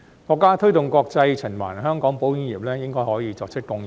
國家推動國際循環，香港保險業應該可以作出貢獻。